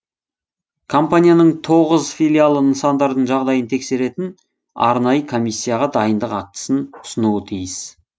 компанияның тоғыз филиалы нысандардың жағдайын тексеретін арнайы комиссияға дайындық актісін ұсынуы тиіс